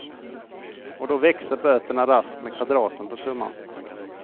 Och då växer böterna raskt med kvadraten på summan.